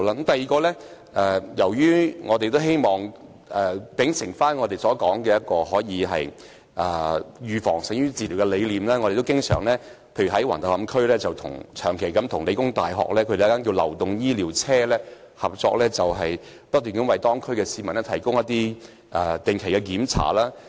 第二點，秉承我們所說的預防勝於治療的理念，舉例說，我們在橫頭磡區長期與香港理工大學的流動醫療車合作，為區內市民提供定期檢查。